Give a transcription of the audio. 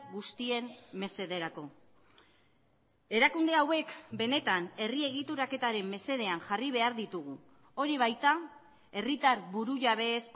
guztien mesederako erakunde hauek benetan herri egituraketaren mesedean jarri behar ditugu hori baita herritar burujabeez